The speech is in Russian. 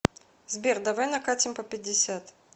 сбер давай накатим по пятьдесят